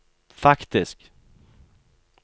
faktisk